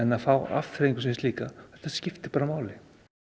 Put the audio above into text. að fá afþreyingu sem slíka þetta skiptir bara máli